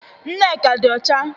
Nneka di ocha